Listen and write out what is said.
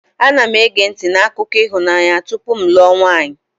Ana m ege ntị n'akụkọ ịhụnanya tupu m alụọ nwanyị.